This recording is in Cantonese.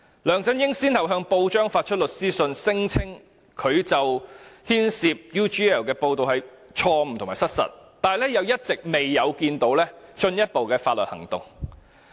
梁振英先後向報章發出律師信，聲稱他牽涉 UGL 的報道是錯誤和失實的，但一直沒有進一步採取法律行動。